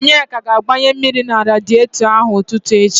Onyeka ga-agbanye mmiri na radietọ ahụ n'ụtụtụ echi.